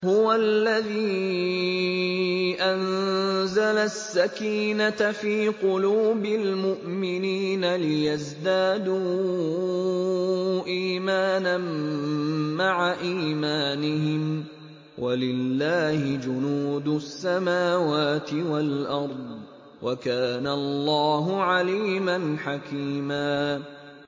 هُوَ الَّذِي أَنزَلَ السَّكِينَةَ فِي قُلُوبِ الْمُؤْمِنِينَ لِيَزْدَادُوا إِيمَانًا مَّعَ إِيمَانِهِمْ ۗ وَلِلَّهِ جُنُودُ السَّمَاوَاتِ وَالْأَرْضِ ۚ وَكَانَ اللَّهُ عَلِيمًا حَكِيمًا